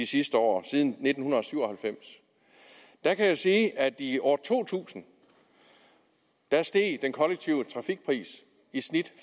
sidste år siden nitten syv og halvfems der kan jeg sige at i år to tusind steg den kollektive trafikpris i snit